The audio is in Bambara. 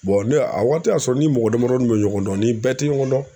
ne y'a a waati y'a sɔrɔ ni mɔgɔ damadɔnin bɛ ɲɔgɔn dɔn ni bɛɛ tɛ ɲɔgɔn dɔn.